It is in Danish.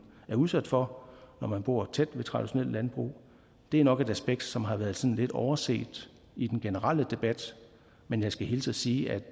er udsat for når man bor tæt på traditionelt landbrug det er nok et aspekt som har været sådan lidt overset i den generelle debat men jeg skal hilse at sige at